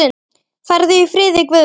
Farðu í friði Guðs.